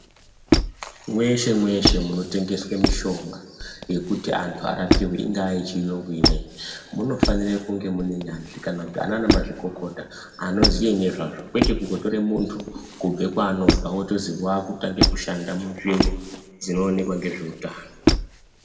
Mweshe mweshe munotengeswe mishonga yekuti antu arapiwe ingaa yechiyungu ineyi munofanire kunge mune nyanzvi kana kuti anana mazvikokota anoziye nezvazvo kwete kungotore muntu kubve kwaanobva wozi wautanga kushanda munzvimbo dzinoonekwa ngezveutano.